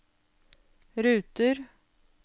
ruter